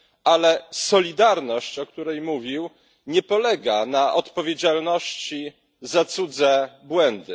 Ale solidarność, o której mówił, nie polega na odpowiedzialności za cudze błędy.